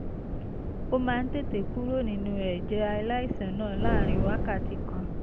ó máa ń tètè kúrò nínú ẹ̀jẹ̀ aláìsàn náà láàárín wákàtí kan